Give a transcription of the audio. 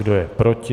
Kdo je proti?